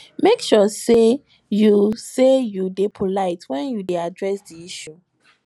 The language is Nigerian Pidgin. make sure say you say you de polite when you de address di issue